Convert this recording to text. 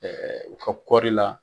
u ka kɔɔri la.